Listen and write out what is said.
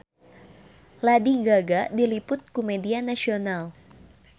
Lady Gaga diliput ku media nasional